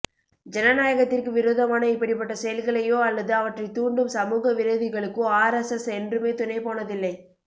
ஜனநாயகத்திற்கு விரோதமான இப்படிப்பட்ட செயல்களையோ அல்லது அவற்றை தூண்டும் சமூக விரோதிகளுக்கோ ஆர் எஸ் எஸ் என்றுமே துணை போனதில்லை